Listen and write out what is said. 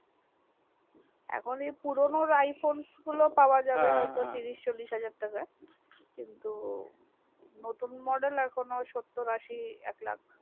এখনি পুরোনো iphone ওর গুলো পাওয়া যাবে হা তিরিশ চল্লিশ হাজার তাকাই কিন্তু নতুন model এখনো সত্তর আসি একলাখ